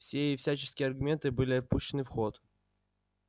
все и всяческие аргументы были пущены в ход